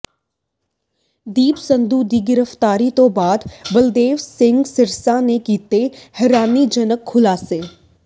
ਦੀਪ ਸਿੱਧੂ ਦੀ ਗ੍ਰਿਫ਼ਤਾਰੀ ਤੋਂ ਬਾਅਦ ਬਲਦੇਵ ਸਿੰਘ ਸਿਰਸਾ ਨੇ ਕੀਤੇ ਹੈਰਾਨੀਜਨਕ ਖੁਲਾਸੇ